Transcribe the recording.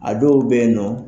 A dɔw bɛyinnɔ.